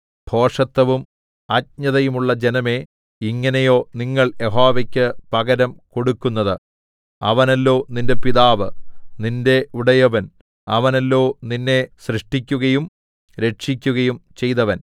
ഭോഷത്തവും അജ്ഞതയുമുള്ള ജനമേ ഇങ്ങനെയോ നിങ്ങൾ യഹോവയ്ക്കു പകരം കൊടുക്കുന്നത് അവനല്ലോ നിന്റെ പിതാവ് നിന്റെ ഉടയവൻ അവനല്ലോ നിന്നെ സൃഷ്ടിക്കുകയും രക്ഷിക്കുകയും ചെയ്തവൻ